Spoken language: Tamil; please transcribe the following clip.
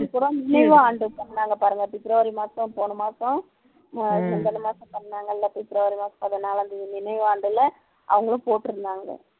நினைவு ஆண்டு சொன்னாங்க பாருங்க பிப்ரவரி மாசம் போன மாசம் முந்துன மாசம் சொன்னாங்க இல்ல பிப்ரவரி மாசம் பதினாலாம் தேதி நினைவு ஆண்டுல அவங்களும் போட்டுருந்தாங்க